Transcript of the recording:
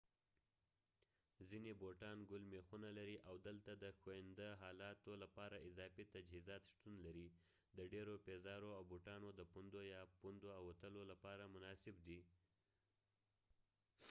ځینې بوټان ګل میخونه لري او دلته د ښوينده حالاتو لپاره اضافي تجهیزات شتون لري د ډیرو پیزارو او بوټانو د پوندو یا پوندو او تلو لپاره مناسب دي